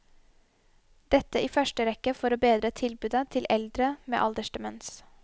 Dette i første rekke for å bedre tilbudet til eldre med aldersdemens.